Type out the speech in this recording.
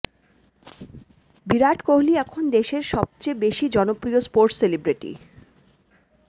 বিরাট কোহলি এখন দেশের সবচেয়ে বেশি জনপ্রিয় স্পোর্টস সেলিব্রিটি